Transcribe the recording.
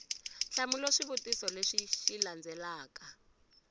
hlamula swivutiso leswi xi landzelaka